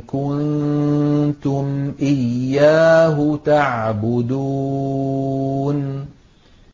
كُنتُمْ إِيَّاهُ تَعْبُدُونَ